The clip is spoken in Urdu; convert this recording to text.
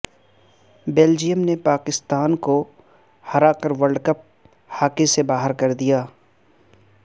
بیلجیم نے پاکستان کو ہراکر ورلڈکپ ہاکی سے باہر کردیا